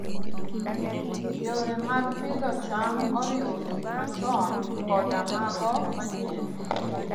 Yore mag pidho cham oriwo gik machon koda mago manyien.